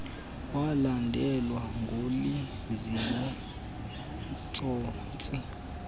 walandelwa nguliziwe tsotsi